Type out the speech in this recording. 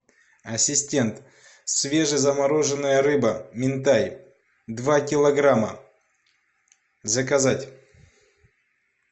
ассистент свежезамороженная рыба минтай два килограмма заказать